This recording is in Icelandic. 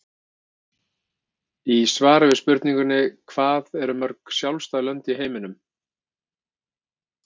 Í svari við spurningunni Hvað eru mörg sjálfstæð lönd í heiminum?